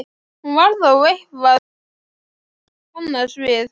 Hún var þó eitthvað sem hann kannaðist við.